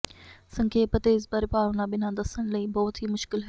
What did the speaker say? ਸੰਖੇਪ ਅਤੇ ਇਸ ਬਾਰੇ ਭਾਵਨਾ ਬਿਨਾ ਦੱਸਣ ਲਈ ਬਹੁਤ ਹੀ ਮੁਸ਼ਕਲ ਹੈ